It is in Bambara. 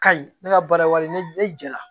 Kayi ne ka baara wale ne jɛra